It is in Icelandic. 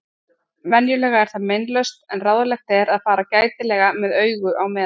Venjulega er það meinlaust en ráðlegt er að fara gætilega með augu á meðan.